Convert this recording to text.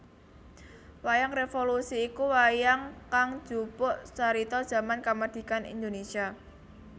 Wayang Révolusi iku wayang kang njupuk carita jaman kamardhikan Indonesia